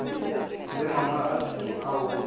le mangwalo a thuto ao